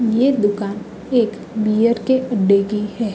ये दुकान एक बियर के अड्डे की है।